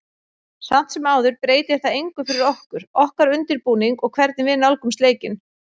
Samt sem áður breytir það engu fyrir okkur, okkar undirbúning og hvernig við nálgumst leikinn.